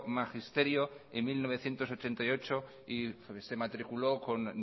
magisterio en mil novecientos ochenta y ocho y se matriculó con